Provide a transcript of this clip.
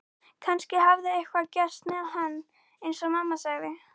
Kannski hafði eitthvað gerst með hann eins og mamma sagði.